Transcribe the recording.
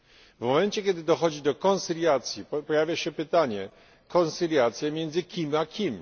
W momencie, kiedy dochodzi do koncyliacji pojawia się pytanie koncyliacje między kim a kim?